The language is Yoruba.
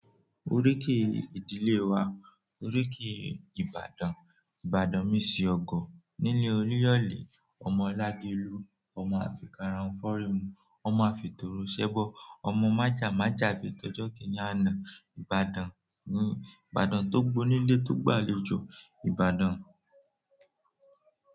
Oríkì ìdílé wa, oríkì Ibadan, Ibadan mo eṣi ọ̀gọ̀ nílé olúyọ̀lé, ọmọ lágelú, ọmọ afikarahun fọ́rìn mu, ọmọ àfitoro sẹ́bọ̀, ọmọ májámájá bi tọjọ́ kìní àná. Ibadan ni Ibadan tó gbónilé tó gbàlejò. Ibadan.